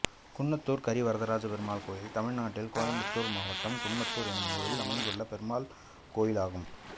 குன்னத்தூர் கரிவரதராஜப் பெருமாள் கோயில் தமிழ்நாட்டில் கோயம்புத்தூர் மாவட்டம் குன்னத்தூர் என்னும் ஊரில் அமைந்துள்ள பெருமாள் கோயிலாகும்